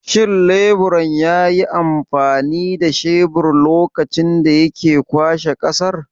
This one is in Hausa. Shin leburan yayi amfani da shebir lokacin da yake ƙwaɓa ƙasar?